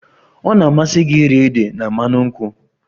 Ọ ga-amasị gị iri ede na mmanụ nkwụ?